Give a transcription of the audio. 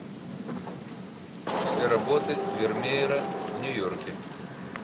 все работы вермеера в нью йорке